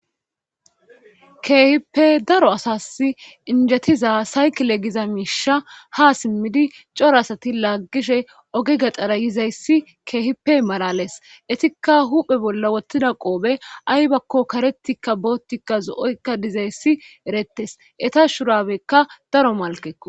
Keehippe daro asas injetiza saykile giza miisha ha simmidi coro asati laggishe oge gaxara yizayssi keehipe marales etikka huphe bolla wottida qoobe aybakko karetikka boottikka zo'oykka dizayssi erettes eta shurabekka daro malkeo.